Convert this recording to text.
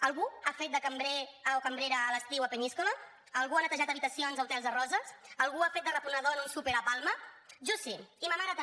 algú ha fet de cambrer o cambrera a l’estiu a peníscola algú ha netejat habitacions a hotels a roses algú ha fet de reposador en un súper a palma jo sí i ma mare també